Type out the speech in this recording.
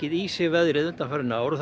í sig veðrið undanfarin ár og það